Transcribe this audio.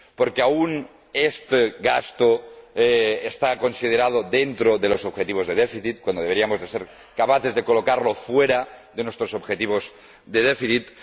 porque aún este gasto está considerado dentro de los objetivos de déficit, cuando deberíamos ser capaces de colocarlo fuera de nuestros objetivos de déficit